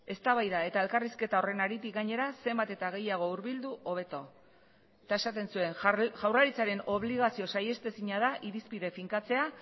eztabaida eta elkarrizketa horren haritik gainera zenbat eta gehiago hurbildu hobeto eta esaten zuen jaurlaritzaren obligazio saihestezina da irizpide finkatzea